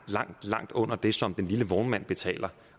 langt langt under den som den lille vognmand betaler